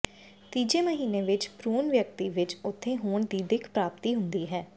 ਤੀਜੇ ਮਹੀਨੇ ਵਿੱਚ ਭਰੂਣ ਵਿਅਕਤੀ ਵਿੱਚ ਉੱਥੇ ਹੋਣ ਦੀ ਦਿੱਖ ਪ੍ਰਾਪਤੀ ਹੁੰਦੀ ਹੈ